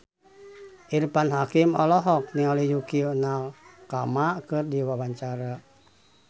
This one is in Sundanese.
Irfan Hakim olohok ningali Yukie Nakama keur diwawancara